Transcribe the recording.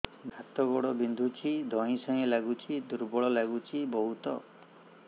ହାତ ଗୋଡ ବିନ୍ଧୁଛି ଧଇଁସଇଁ ଲାଗୁଚି ଦୁର୍ବଳ ଲାଗୁଚି ବହୁତ